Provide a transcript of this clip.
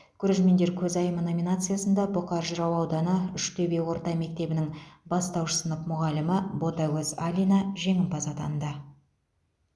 көрермендер көзайымы номинациясында бұқар жырау ауданы үштөбе орта мектебінің бастауыш сынып мұғалімі ботагөз алина жеңімпаз атанды